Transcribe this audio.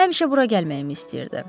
Həmişə bura gəlməyimi istəyirdi.